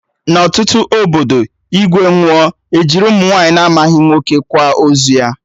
Na ọtụtụ obodo, igwe nwụọ, ejiri ụmụ nwaanyị na-amaghị nwoke kwa ozu ya